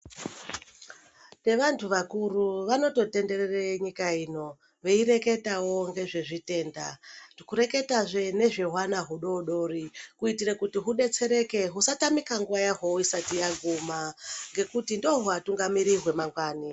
Nevandu vakuru vanoto tenderere nyika ino veireketawo ngezvezvi tenda, kureketazve nezva hwana hudodori kuitire kuti hubetsereke husatamika nguva yahwo isati yaguma ngekuti ndohuwatungamiriri hwamangwani.